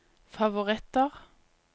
favoritter